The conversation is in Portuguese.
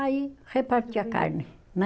Aí repartia a carne, né?